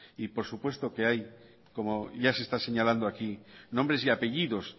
y por supuesto que hay como ya se está señalando aquí nombres y apellidos